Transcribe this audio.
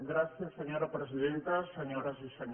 gràcies senyora presidenta senyores i senyors diputats